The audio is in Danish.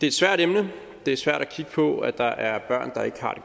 et svært emne det er svært at kigge på at der er børn der ikke har